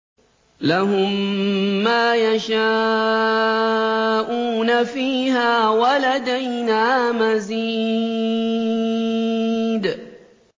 لَهُم مَّا يَشَاءُونَ فِيهَا وَلَدَيْنَا مَزِيدٌ